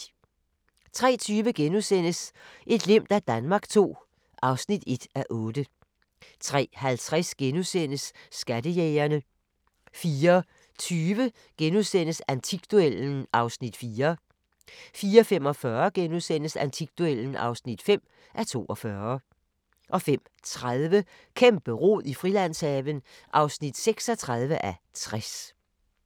03:20: Et glimt af Danmark II (1:8)* 03:50: Skattejægerne * 04:20: Antikduellen (4:42)* 04:45: Antikduellen (5:42)* 05:30: Kæmpe-rod i Frilandshaven (36:60)